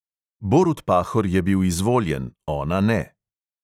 Borut pahor je bil izvoljen, ona ne.